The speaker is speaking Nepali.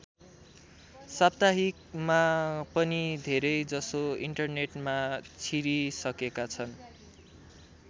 साप्ताहिकमा पनि धेरै जसो इन्टरनेटमा छिरिसकेका छन्।